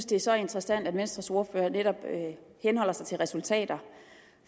det er så interessant at venstres ordfører netop henholder sig til resultater